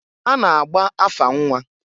A na-agba afa nnwa.